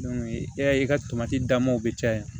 i y'a ye i ka tomati damaw bɛ caya